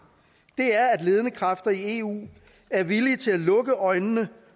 er at ledende kræfter i eu er villige til at lukke øjnene